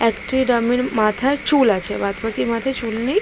একটি ডামির মাথার চুল আছে। বাদ বাকি মাথার চুল নেই।